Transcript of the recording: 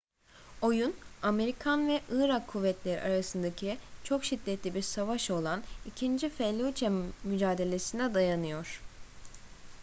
oyun amerikan ve irak kuvvetleri arasındaki çok şiddetli bir savaş olan i̇kinci felluce mücadelesi'ne dayanıyor